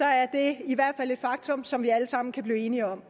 er det i hvert fald et faktum som vi alle sammen kan blive enige om